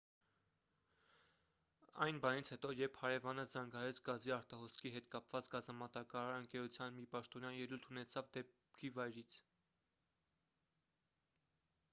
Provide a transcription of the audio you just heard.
այն բանից հետո երբ հարևանը զանգահարեց գազի արտահոսքի հետ կապված գազամատակարար ընկերության մի պաշտոնյա ելույթ ունեցավ դեպքի վայրից